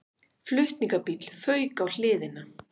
Flutningabíll fauk á hliðina